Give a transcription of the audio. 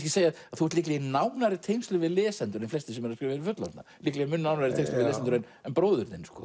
þú ert líklega í nánari tengslum við lesendur en flestir sem eru að skrifa fyrir fullorðna líklega í nánari tengslum við lesendur en bróðir þinn sko